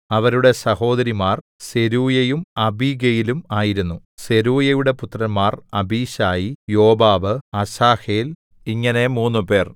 അവരുടെ സഹോദരിമാർ സെരൂയയും അബീഗയിലും ആയിരുന്നു സെരൂയയുടെ പുത്രന്മാർ അബീശായി യോവാബ് അസാഹേൽ ഇങ്ങനെ മൂന്നുപേർ